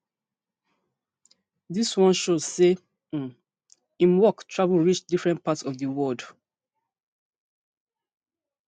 dis one show say um im work travel reach different parts of di world